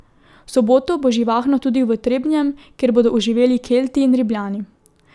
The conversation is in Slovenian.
V soboto bo živahno tudi v Trebnjem, kjer bodo oživeli Kelti in Rimljani.